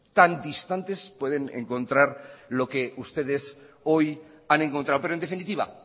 tan distantes pueden encontrar lo que ustedes hoy han encontrado pero en definitiva